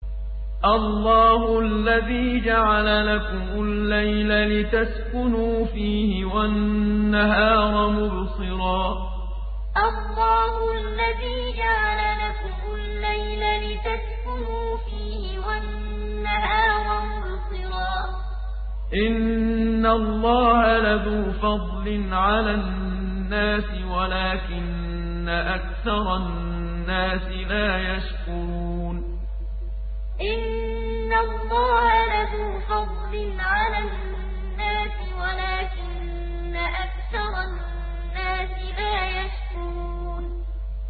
اللَّهُ الَّذِي جَعَلَ لَكُمُ اللَّيْلَ لِتَسْكُنُوا فِيهِ وَالنَّهَارَ مُبْصِرًا ۚ إِنَّ اللَّهَ لَذُو فَضْلٍ عَلَى النَّاسِ وَلَٰكِنَّ أَكْثَرَ النَّاسِ لَا يَشْكُرُونَ اللَّهُ الَّذِي جَعَلَ لَكُمُ اللَّيْلَ لِتَسْكُنُوا فِيهِ وَالنَّهَارَ مُبْصِرًا ۚ إِنَّ اللَّهَ لَذُو فَضْلٍ عَلَى النَّاسِ وَلَٰكِنَّ أَكْثَرَ النَّاسِ لَا يَشْكُرُونَ